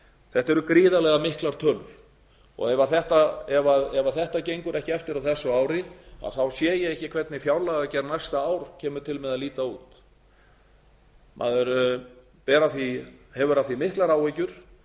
þetta eru gríðarlega miklar tölur og ef þetta gengur ekki eftir á þessu ári þá sé ég ekki hvernig fjárlagagerð næsta árs kemur til með að líta út maður hefur af því miklar áhyggjur